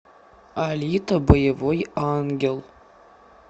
алита боевой ангел